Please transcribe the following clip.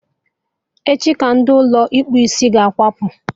Echi ka ndị Ụlọ ịkpụ isiahụ ga-akwapụ